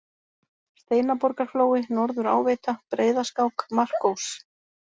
Steinaborgarflói, Norður-Áveita, Breiðaskák, Markós